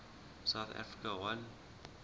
south africa won